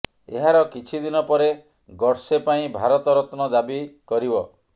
ଏହାର କିଛି ଦିନ ପରେ ଗଡ଼ସେ ପାଇଁ ଭାରତ ରତ୍ନ ଦାବି କରିବ